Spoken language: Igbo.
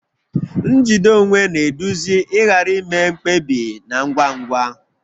Njide onwe na-eduzi ịghara ime mkpebi na ngwa ngwa